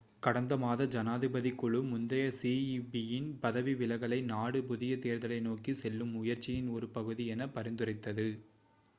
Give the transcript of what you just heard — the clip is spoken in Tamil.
கடந்த மாதம் ஜனாதிபதிக் குழு முந்தைய சிஈபியின் பதவி விலகலை நாடு புதிய தேர்தலை நோக்கி செல்லும் முயற்சியின் ஒரு பகுதி என பரிந்துரைத்தது